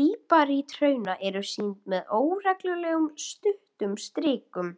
líparíthrauna eru sýnd með óreglulegum, stuttum strikum.